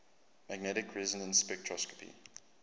magnetic resonance spectroscopy